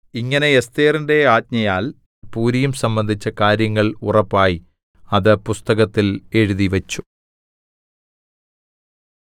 ഇങ്ങനെ എസ്ഥേറിന്റെ ആജ്ഞയാൽ പൂരീം സംബന്ധിച്ച കാര്യങ്ങൾ ഉറപ്പായി അത് പുസ്തകത്തിൽ എഴുതിവെച്ചു